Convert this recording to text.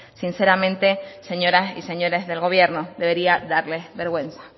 sinceramente señoras y señores del gobierno debería darles vergüenza